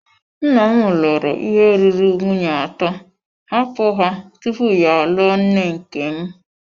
Nna m lụrụ ihe ruru nwunye atọ, ahapụ ha tupu ya alụọ nne nke m.